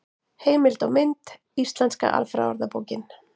Heimild og mynd: Íslenska alfræðiorðabókin.